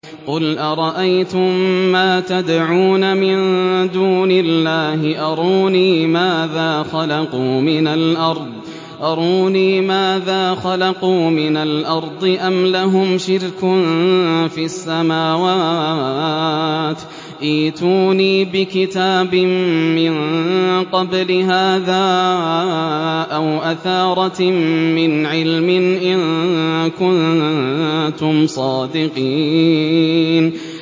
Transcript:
قُلْ أَرَأَيْتُم مَّا تَدْعُونَ مِن دُونِ اللَّهِ أَرُونِي مَاذَا خَلَقُوا مِنَ الْأَرْضِ أَمْ لَهُمْ شِرْكٌ فِي السَّمَاوَاتِ ۖ ائْتُونِي بِكِتَابٍ مِّن قَبْلِ هَٰذَا أَوْ أَثَارَةٍ مِّنْ عِلْمٍ إِن كُنتُمْ صَادِقِينَ